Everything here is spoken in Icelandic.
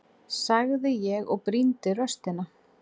sagði ég og brýndi raustina.